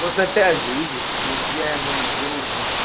вот опять же видишь ты говоришь я ему наберу значит